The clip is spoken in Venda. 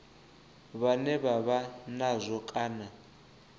vhane vha vha nazwo kana